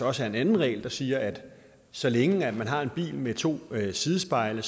også er en anden regel der siger at man så længe man har en bil med to sidespejle